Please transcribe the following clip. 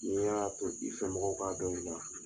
N y'a to i fɛ mɔgɔw k'a dɔn i la